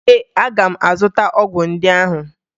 Ee, aga m azụta ọgwụ ndị ahụ